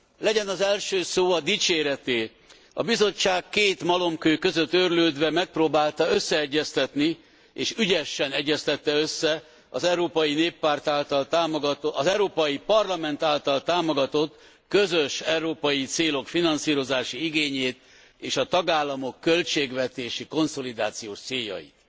Legyen az első szó a dicséreté. A Bizottság két malomkő között őrlődve megpróbálta összeegyeztetni, és ügyesen egyeztette össze az Európai Parlament által támogatott közös európai célok finanszírozási igényét és a tagállamok költségvetési konszolidációs céljait.